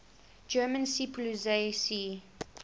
german seepolizei sea